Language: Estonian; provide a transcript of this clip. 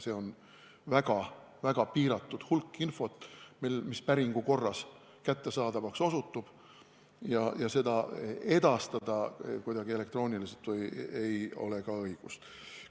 See on väga-väga piiratud hulk infot, mis päringu korras kättesaadavaks osutub ja seda kuidagi elektrooniliselt edastada ei ole ka õigust.